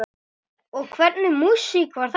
Og hvernig músík var þetta?